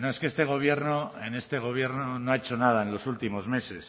no es que este gobierno en este gobierno no ha hecho nada en los últimos meses